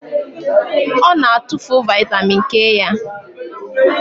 Ọ na-atụfu vitamin K ya.